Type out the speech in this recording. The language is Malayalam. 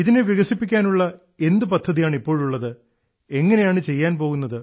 ഇതിനെ വികസിപ്പിക്കാനുള്ള എന്ത് പദ്ധതിയാണ് ഇപ്പോഴുള്ളത് എങ്ങനെയാണ് ചെയ്യാൻ പോകുന്നത്